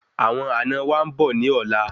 Àwọn àna wa nbọ ni ọlá